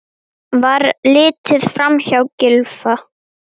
Var litið framhjá Gylfa?